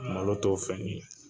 Malo t' o fɛn ye